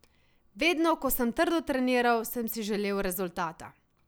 Vedno, ko sem trdo treniral, sem si želel rezultata.